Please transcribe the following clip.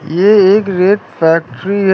ये एक रेत फैक्ट्री है।